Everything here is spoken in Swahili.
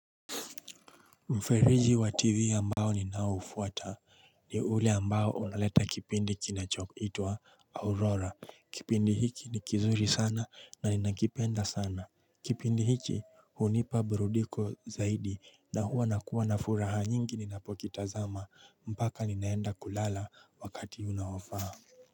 Mferiji wa tivi ambao ni naofuata ni ule ambao unaleta kipindi kinachoku itwa aurora kipindi hiki ni kizuri sana na ninakipenda sana Kipindi hiki hunipa burudiko zaidi na huwa nakuwa na furaha nyingi ninapokitazama mpaka ninaenda kulala wakati unaofaa.